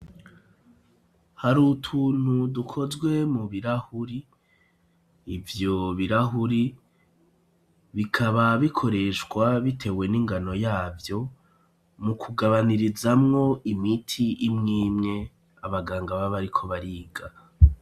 Harutuntu dukozwe mu birahuri ivyo birahuri bikaba bikoreshwa bitewe n'ingano yavyo mu kugabanirizamwo imiti imwimwe abaganga baba bariko bariga.